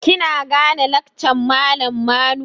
Kina gane lakcan malam Manu?